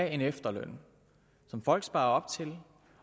en efterløn som folk sparer op til